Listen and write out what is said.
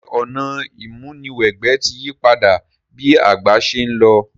Sè ọ̀nà ìmúniwẹgbẹ́ ti yípadà bi ìgbà se n lo?